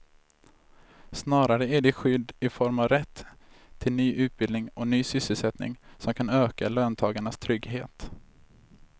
Snarare är det skydd i form av rätt till ny utbildning och ny sysselsättning som kan öka löntagarnas trygghet.